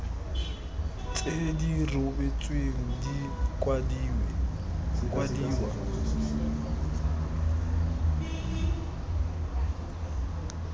tse di rebotsweng di kwadiwa